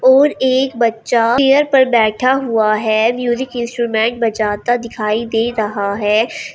और एक बच्चा चेयर पर बैठा हुआ है म्यूजिक इंस्ट्रूमेंट बजाता दिखाई दे रहा है।